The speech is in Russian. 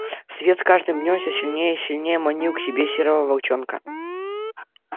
свет с каждым днём всё сильнее и сильнее манил к себе серого волчонка